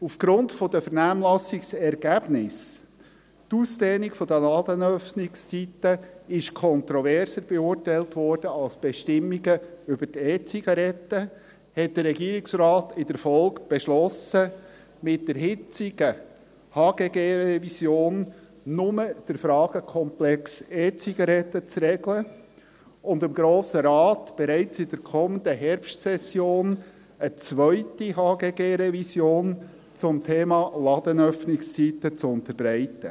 Aufgrund der Vernehmlassungsergebnisse – die Ausdehnung der Ladenöffnungszeiten wurde kontroverser beurteilt als die Bestimmungen über die E-Zigaretten – hat der Regierungsrat in der Folge beschlossen, mit der jetzigen HGG-Revision nur den Fragenkomplex E-Zigaretten zu regeln und dem Grossen Rat bereits in der kommenden Herbstsession eine zweite HGG-Revision zum Thema Ladenöffnungszeiten zu unterbreiten.